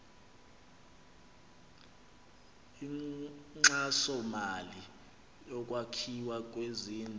inkxasomali yokwakhiwa kwezindlu